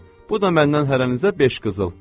Alın, bu da məndən hərənizə beş qızıl.